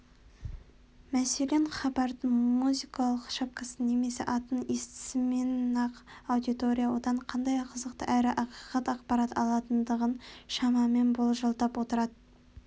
мәселен хабардың музыкалық шапкасын немесе атын естісімен-ақ аудитория одан қандай қызықты әрі ақиқат ақпарат алатындығын шамамен болжалдап отырады